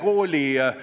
Lugupeetud töökaaslane!